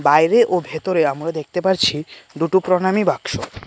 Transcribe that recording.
বাইরে ও ভেতরে আমরা দেখতে পাচ্ছি দুটো প্রণামি বাক্স।